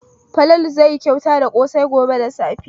Falalu zai yi kyauta da ƙosai gobe da safe.